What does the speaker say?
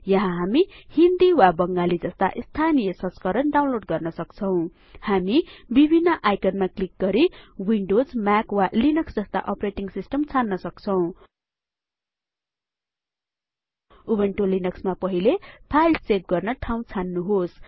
यहाँ हामी हिन्दी वा बङ्गाली जस्ता स्थानिय संस्करण डाउनलोड गर्नसक्छौं हामी विभिन्न आइकनमा क्लिक गरी विन्डोज म्याक वा लिनक्स जस्ता अपरेटिङ सिस्टम छान्न सक्छौं उबुन्टु लिनक्स मा पहिले फाईल सेभ गर्न ठाउँ छान्नुहोस्